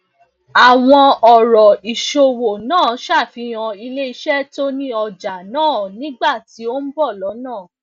àwọn òrò ìsòwò naa safihan ileise to ni oja naa nigba ti o n bo lona